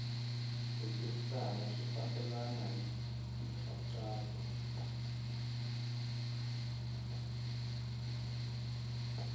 rhejisitara swi fambelena hi nkhaqato